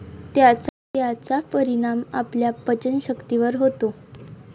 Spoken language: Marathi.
त्याचा परिणाम आपल्या पचनशक्तीवर होतो.